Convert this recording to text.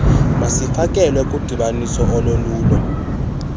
masifakelwe kudibaniso olulolo